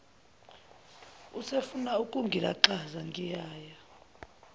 usefuna ukungilaxaza ngingaya